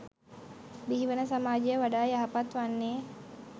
බිහිවන සමාජය වඩා යහපත් වන්නේ.